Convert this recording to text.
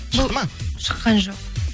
шықты ма шыққан жоқ